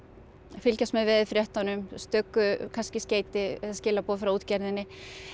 fylgjast með veðurfréttunum stöku kannski skeyti eða skilaboð frá útgerðinni